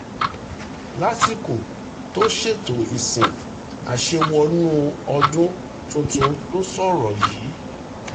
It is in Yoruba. lásìkò tó ṣètò ìsìn àṣewọnú-ọdún tuntun ló sọ̀rọ̀ yìí